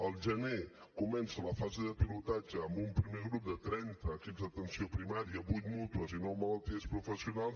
al gener comença la fase de pilotatge amb un primer grup de trenta equips d’atenció primària vuit mútues i nou malalties professionals